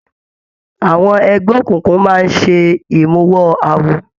Àwọn ẹgbẹ òkùnkùn máa ṣe imuwọ̀ awo.